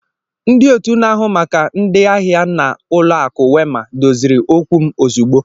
Ndị otu na-ahụ maka ndị ahịa na Ụlọakụ Wema doziri okwu m ozugbo.